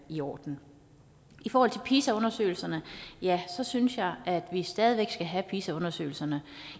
i orden i forhold til pisa undersøgelserne ja så synes jeg at vi stadig væk skal have pisa undersøgelserne